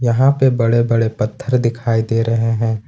यहां पे बड़े बड़े पत्थर दिखाई दे रहे हैं।